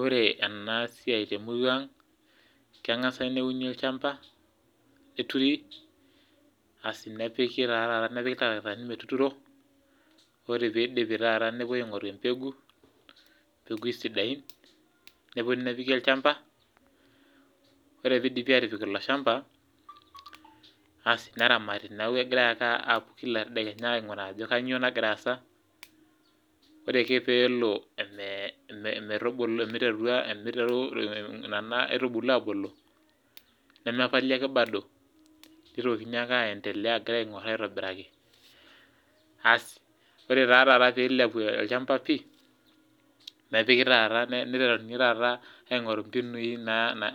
Ore ena siai temurua ang, kengasi neuni olchampa ,neturi nepiki taata ilntarakitani metuturo, ore pee eidipi taata nepoi aingoru empegu, mpegui sidain nepoi nepiki olchampa, ore pee eidipi atipik ilo shamba, asi neramati neeku kegira ake apuo Kila tedekenya ainguraa ajo kainyoo nagira aasa ,ore ake pee elo omiteru nena aitubulu abulu, nemepali ake bado, neitokini aendelea agira aongor aitobiraki asi ore ta taata pee eilepu ochampa pi ,neiteruni taata aingporu mbinui